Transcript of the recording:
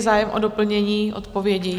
Zájem o doplnění odpovědi?